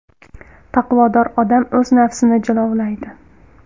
Taqvodor odam o‘z nafsini jilovlaydi.